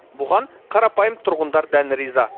бұған қарапайым тұрғындар дән риза